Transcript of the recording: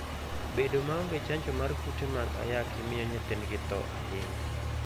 Bedo maonge chanjo mar kute mag ayaki miyo nyithindgi tho ahinya.